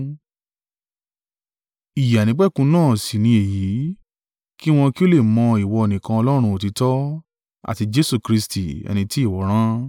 Ìyè àìnípẹ̀kun náà sì ni èyí, kí wọn kí ó lè mọ ìwọ nìkan Ọlọ́run òtítọ́, àti Jesu Kristi, ẹni tí ìwọ rán.